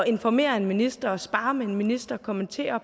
informere en minister sparre med en minister og kommentere